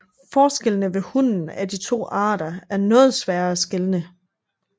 Forskellene ved hunnen af de to arter er noget sværere at skelne